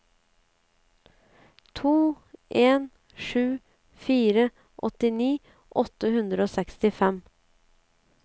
to en sju fire åttini åtte hundre og sekstifem